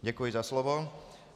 Děkuji za slovo.